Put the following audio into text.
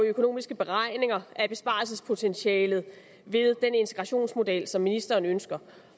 økonomiske beregninger af besparelsespotentialet ved den integrationsmodel som ministeren ønsker